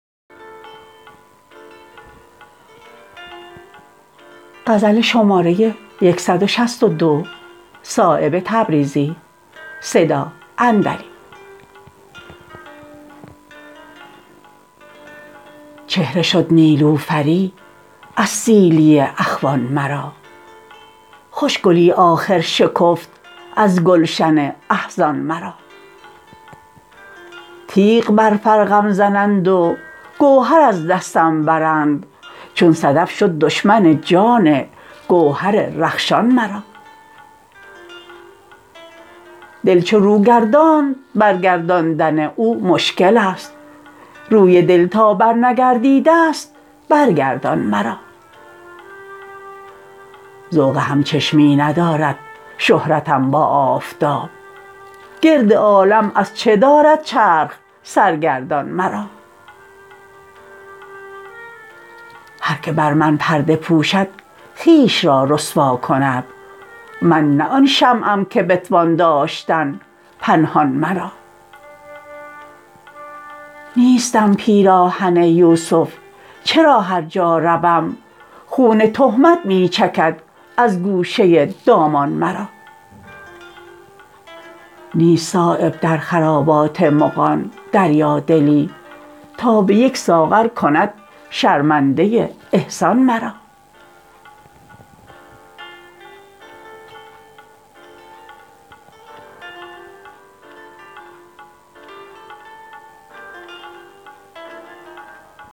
چهره شد نیلوفری از سیلی اخوان مرا خوش گلی آخر شکفت از گلشن احزان مرا تیغ بر فرقم زنند و گوهر از دستم برند چون صدف شد دشمن جان گوهر رخشان مرا دل چو رو گرداند بر گرداندن او مشکل است روی دل تا برنگردیده است بر گردان مرا ذوق همچشمی ندارد شهرتم با آفتاب گرد عالم از چه دارد چرخ سرگردان مرا هر که بر من پرده پوشد خویش را رسوا کند من نه آن شمعم که بتوان داشتن پنهان مرا نیستم پیراهن یوسف چرا هر جا روم خون تهمت می چکد از گوشه دامان مرا نیست صایب در خرابات مغان دریا دلی تا به یک ساغر کند شرمنده احسان مرا